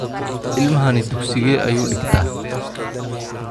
ilmahani dhugsigee ayu dhigtaa?